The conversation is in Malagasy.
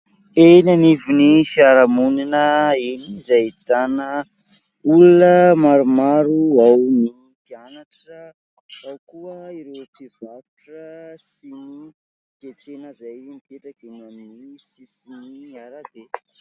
Eny anivon'ny fiarahamonina eny izay ahitana olona maromaro, ao ny mpianatra, ao koa ireo mpivarotra sy ny mpiantsena izay mipetraka eny amin'ny sisin'ny arabe.